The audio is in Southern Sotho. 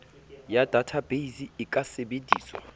ya databeise e ka sebediswa